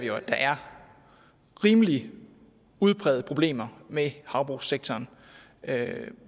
jo at der er rimelig udprægede problemer med havbrugssektoren